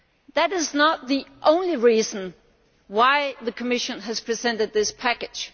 that is not the only reason why the Commission has presented this package.